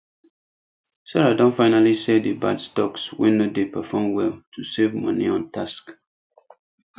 sarah don finally sell the bad stocks wey no dey perform well to save money on tax